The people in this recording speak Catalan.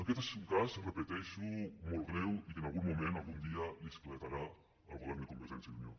aquest és un cas ho repeteixo molt greu i que en algun moment algun dia li esclatarà al govern de convergència i unió